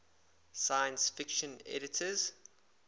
science fiction editors